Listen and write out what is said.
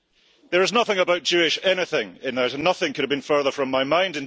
There is nothing about Jewish anything in it, and nothing could have been further from my mind.